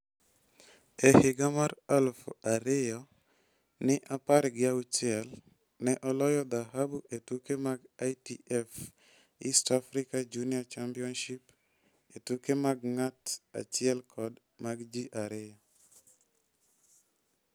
E higa mar aluf ariyo ni apar gi auchiel, ne oloyo dhahabu e tuke mag ITF East Africa junior championship e tuke mag ng'at achiel kod mag ji ariyo.